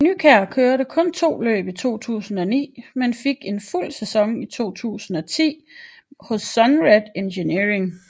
Nykjær kørte kun to løb i 2009 men fik en fuld sæson i 2010 hos SUNRED Engineering